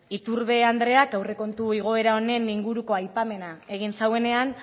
iturbe andreak aurrekontu igoera honen inguruko aipamena egin zuenean